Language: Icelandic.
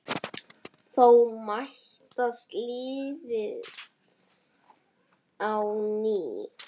Þá mætast liðin á ný.